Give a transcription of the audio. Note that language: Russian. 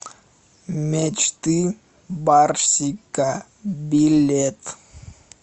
мечты барсика билет